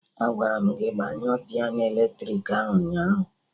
Agwara m gị gbanyụọ piano eletrik ahụ ụnyaahụ